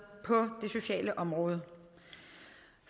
på det sociale område